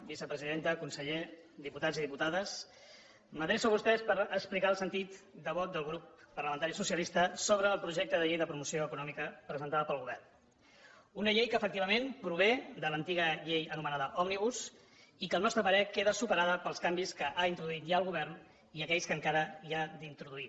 vicepresidenta conseller diputats i diputades m’adreço a vostès per explicar el sentit de vot del grup parlamentari socialista sobre el projecte de llei de promoció econòmica presentat pel govern una llei que efectivament prové de l’antiga llei anomenada òmnibus i que al nostre parer queda superada pels canvis que ha introduït ja el govern i aquells que encara hi han d’introduir